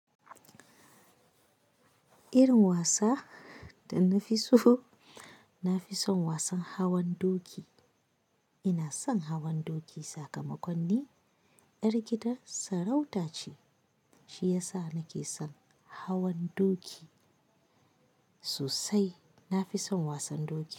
Irin wasa da na fi so, na fi son wasan hawan doki. Ina son hawan doki sakamakon ni ƴar gidan sarauta ce. Shi ya sa nake son hawan doki sosai. Na fi son wasan doki.